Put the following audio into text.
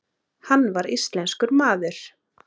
Hann var íslenskur maður.